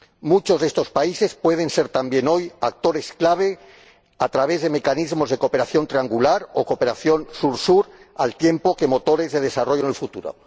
Muchos de estos países pueden ser también hoy actores clave a través de mecanismos de cooperación triangular o cooperación Sur Sur, al tiempo que motores de desarrollo en el futuro.